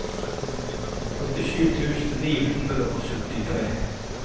førtisju tusen ni hundre og syttitre